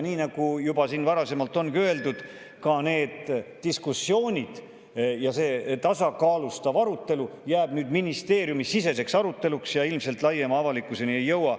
Nii nagu juba siin varasemalt on öeldud, ka need diskussioonid ja see tasakaalustav arutelu jäävad nüüd ministeeriumisiseseks ja ilmselt laiema avalikkuseni ei jõua.